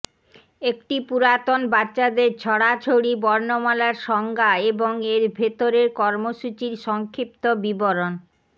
একটি পুরাতন বাচ্চাদের ছড়াছড়ি বর্ণমালার সংজ্ঞা এবং এর ভেতরের কর্মসূচির সংক্ষিপ্ত বিবরণ